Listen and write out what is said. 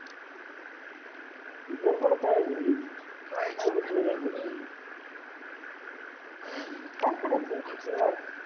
गडबड काय झाली काय यांचं तरी काय करायचे